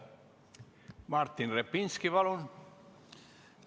Martin Repinski, palun!